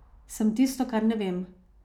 Sem tisto, kar ne vem.